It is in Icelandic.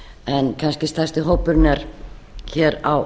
en kannski stærsti hópurinn er hér á